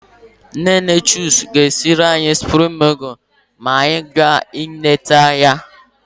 Nne nne Chuks ga-esiri anyị supreme nudul ma anyị bịa ileta ya.